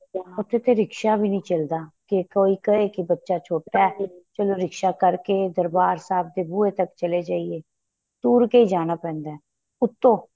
ਉਥੇ ਤੇ ਰਿਸ੍ਕਾ ਵੀ ਨਹੀਂ ਚੱਲਦਾ ਕੇ ਕੋਈ ਕਹੇ ਬੱਚਾ ਛੋਟਾ ਏ ਚਲੋਂ ਰਿਸ੍ਕਾਂ ਕਰਕੇ ਦਰਬਾਰ ਸਾਹਿਬ ਦੇ ਬੂਹੇ ਤੱਕ ਚਲੇ ਜਾਈਏ ਤੁਰ ਕੇ ਜਾਣਾ ਪੈਂਦਾ ਉਥੋ